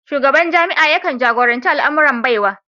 Shugaban jami'a yakan jagoranci al'amuran Baiwa